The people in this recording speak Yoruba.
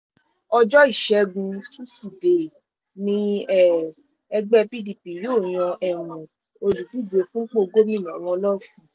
ọjọ́ ìṣẹ́gun tusidee ní um ẹgbẹ́ pdp yóò yan um olùdíje fúnpọ̀ gómìnà wọn lọ́sùn